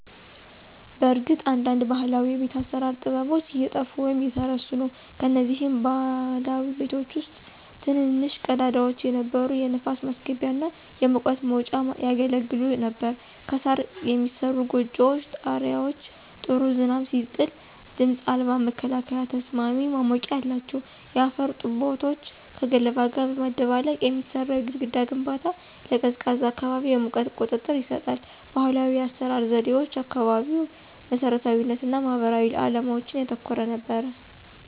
በእርግጥ አንዳንድ ባህላዊ የቤት አሰራር ጥበቦች እየጠፉ ወይም እየተረሱ ነው። ከነዚህም ባህላዊ ቤቶች ውስጥ ትንንሽ ቀዳዳዎች የነበሩ የንፋስ ማስገቢያ እና የሙቀት መውጫ ያገለግሉ ነበር። ከሣር የሚሠሩት ጎጆዎች ጣሪያዎች ጥሩ ዝናብ ሲጥል ድምፅ አልባ መከላከያና ተስማሚ ማሞቂያ አላቸው። የአፈር ጡቦችን ከገለባ ጋር በማደባለቅ የሚሠራው የግድግዳ ግንባታ ለቀዝቃዛ አካባቢ የሙቀት ቁጥጥር ይሰጣል። ባህላዊ የአሰራር ዘዴዎች አካባቢያዊ መሰረታዊነት እና ማህበራዊ ዓላማዎችን ያተኮረ ነበር።